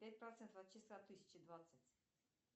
пять процентов от числа тысяча двадцать